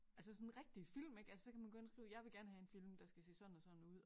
Altså sådan rigtige film ik altså så kan man gå ind og skrive jeg vil gerne have en film der skal se sådan og sådan ud